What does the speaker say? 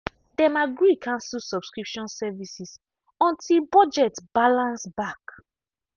dem agree cancel subscription services until budget balance back.